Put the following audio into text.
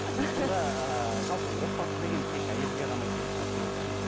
сонда ыыы жалпы отбасы деген тек әйелге ғана керек нәрсе болып тұр ма